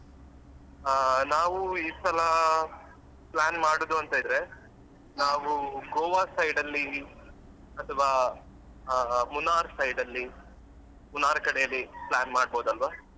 ಹಾ ನಾವು ಈ ಸಲ plan ಮಾಡುದು ಅಂತ ಇದ್ರೆ ನಾವು Goa side ಅಲ್ಲಿ ಅಥ್ವಾ ಆ Munnar side ಅಲ್ಲಿ Munnar ಕಡೆ ಅಲ್ಲಿ plan ಮಾಡಬೋದು ಅಲ್ವಾ?